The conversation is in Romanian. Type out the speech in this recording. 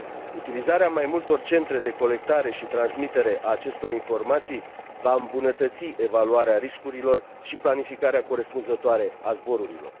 Utilizarea mai multor centre de colectare și transmitere a acestor informații va îmbunătăți evaluarea riscurilor și planificarea corespunzătoare a zborurilor.